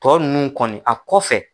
Tɔ nunnu kɔni a kɔfɛ.